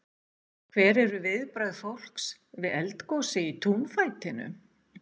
Hver eru viðbrögð fólks við eldgosi í túnfætinum?